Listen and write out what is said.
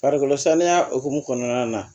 Farikolo saniya hukumu kɔnɔna na